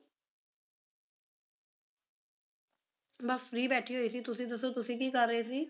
ਬਾਸ free ਬੇਠੀ ਹੋਈ ਸੀ ਤੁਸੀਂ ਦੱਸੋ ਤੁਸੀਂ ਕੀ ਕਰ ਰਹੈ ਸੀ